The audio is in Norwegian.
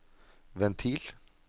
ventil